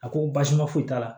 A ko baasima foyi t'a la